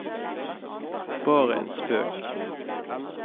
bare en spøk